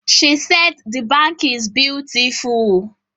She said the bank is beautiful